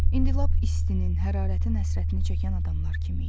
İndi lap istinin, hərarətin həsrətini çəkən adamlar kimi idi.